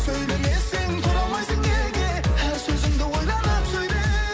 сөйлемесең тұра алмайсың неге әр сөзіңді ойланып сөйле